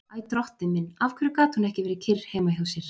Æ, drottinn minn, af hverju gat hún ekki verið kyrr heima hjá sér?